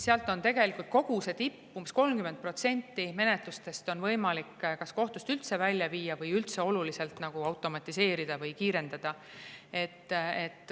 Seal on tegelikult umbes 30% menetlustest võimalik kas kohtust üldse välja viia või oluliselt neid automatiseerida või kiirendada.